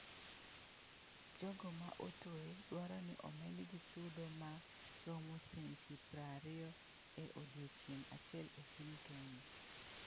Jogo ma otwe dwaro ni omedgi chudo ma romo senti prariyo e odiechieng’ achiel e piny Kenya